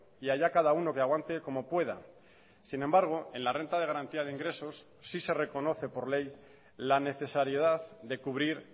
y allá cada uno que aguante como pueda sin embargo en la renta de garantía de ingresos sí se reconoce por ley la necesariedad de cubrir